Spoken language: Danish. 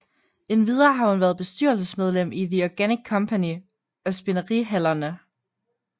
Endvidere har hun været bestyrelsesmedlem i The Organic Company og Spinderihallerne